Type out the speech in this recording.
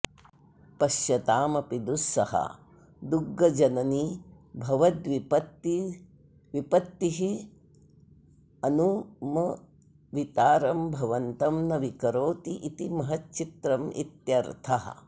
पश्यतामपि दुःसहा दुग्गजननी भवद्विपत्तिरनुमवितारं भवन्तं न विकरोति इति महच्चित्रमित्यर्थः